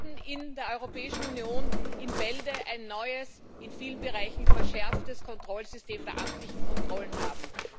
Wir werden in der Europäischen Union in Bälde ein neues, in vielen Bereichen verschärftes Kontrollsystem der amtlichen Kontrollen haben.